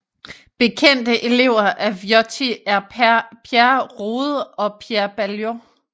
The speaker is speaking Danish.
Bekendte elever af Viotti er Pierre Rode og Pierre Baillot